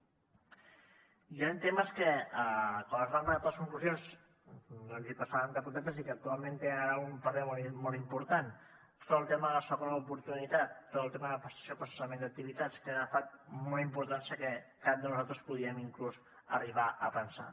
hi han temes que quan es van redactar les conclusions doncs hi passàvem de puntetes i que actualment tenen ara un paper molt important tot el tema de la segona oportunitat tot el tema de prestació per cessament d’activitats que ha agafat una importància que cap de nosaltres podríem inclús arribar a pensar